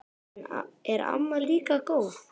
Er amma líka góð?